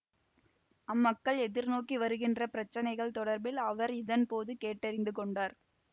அம்மக்கள் எதிர்நோக்கி வருகின்ற பிரச்சினைகள் தொடர்பில் அவர் இதன்போது கேட்டறிந்து கொண்டார்